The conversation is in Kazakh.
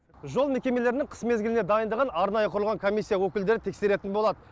жол мекемелерінің қыс мезгіліне дайындығын арнайы құрылған комиссия өкілдері тексеретін болады